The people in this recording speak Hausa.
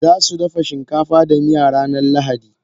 Zasu dafa shinkafa da miya ranar lahadi.